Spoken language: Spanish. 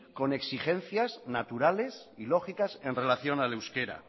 con exigencias naturales y lógicas en relación al euskera